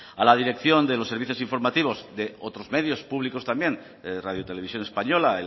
a la dirección de los servicios informativos de otros medios públicos también de radio televisión española